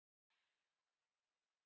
Þig mun Drottinn þekkja.